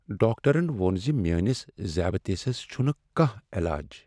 ڈاکٹرن ووٚن مےٚ ذیابطیسس چھٗنہٕ کانٛہہ علاج۔